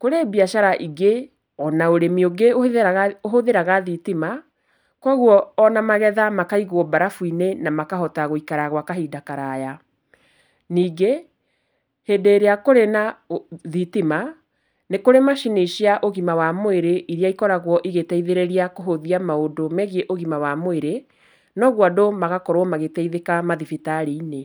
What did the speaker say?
kũrĩ biacara ingĩ ona ũrĩmi ũngĩ ũhũthĩraga, ũhũthĩraga thitima, kwogwo ona magetha makaigwo mbarabu-inĩ na makahota gwĩkara gwa kahinda karaya. Ningĩ, hĩndĩ ĩrĩa kũrĩ na thitima, nĩ kũrĩ macini cia ũgima wa mwĩrĩ iria ikoragwo igĩteithĩrĩria kũhũthia maũndũ megiĩ ũgima wa mwĩrĩ, nogwo andũ magakorwo magĩteithĩka mathibitarĩ-inĩ.